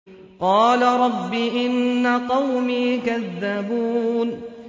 قَالَ رَبِّ إِنَّ قَوْمِي كَذَّبُونِ